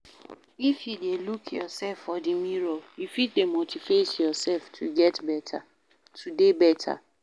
If you de look yourself for di mirror you fit de motivate yourself to dey better